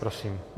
Prosím.